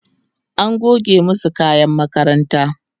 an goge masu kayan makaranta